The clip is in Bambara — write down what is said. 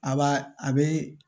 A ba a be